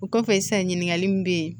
O kɔfɛ sisan ɲininkali min bɛ yen